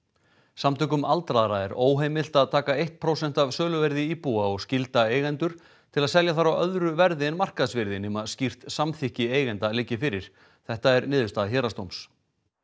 samtökum aldaðra er óheimilt að taka eitt prósent af söluvirði íbúða og skylda eigendur til að selja þær á öðru verði en markaðsvirði nema skýrt samþykki eigenda liggi fyrir þetta er niðurstaða héraðsdóms